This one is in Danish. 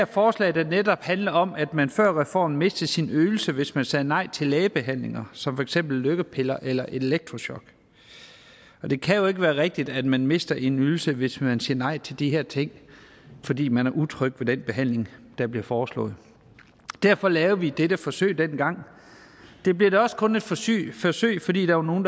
forslag der netop handler om at man før reformen mistede sin ydelse hvis man sagde nej til lægebehandling som for eksempel lykkepiller eller elektrochok og det kan jo ikke være rigtigt at man mister en ydelse hvis man siger nej til de her ting fordi man er utryg ved den behandling der bliver foreslået derfor lavede vi dette forsøg dengang det blev da også kun et forsøg forsøg fordi der var nogle